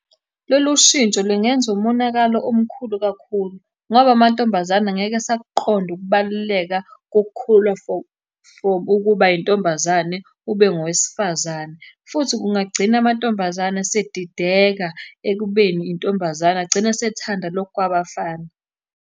Lolu shintsho lingenza umonakalo omkhulu kakhulu, ngoba amantombazane ngeke esakuqonda ukubaluleka kokukhula from ukuba yintombazane ube ngowesifazane, futhi kungagcina amantombazane esedideka ekubeni intombazane, agcine esethanda lokhu kwabafana.